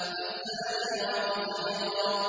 فَالزَّاجِرَاتِ زَجْرًا